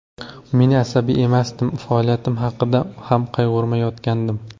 Men asabiy emasdim, faoliyatim haqida ham qayg‘urmayotgandim.